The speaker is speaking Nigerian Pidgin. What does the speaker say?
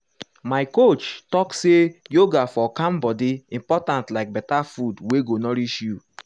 my coach talk say yoga for calm body important like better food wey go nourish you.